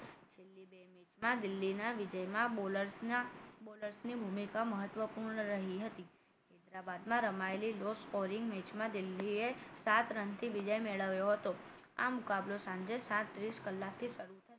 છેલ્લી બે મેચમાં દિલ્હી ના વિજયમાં bowler ના bowler ની ભૂમિકા મહત્વપૂર્ણ રહી હતી હૈદરાબાદમાં રમાયેલી low scoring મેચમાં દિલ્હી એ સાત run થી વિજય મેળવ્યો હતો આ મુકાબલો સાંજે સાત ત્રીશ કલાકે શરૂ થશે